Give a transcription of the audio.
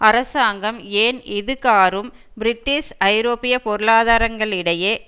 அரசாங்கம் ஏன் இது காறும் பிரிட்டிஷ் ஐரோப்பிய பொருளாதாரங்களிடையே